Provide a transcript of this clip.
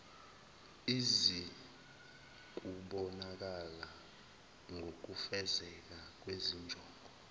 izikubonakala ngokufezeka kwezinjongo